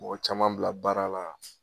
Mɔgɔ caman bila baara la